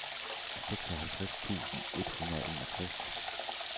seksoghalvtreds tusind et hundrede og enogtres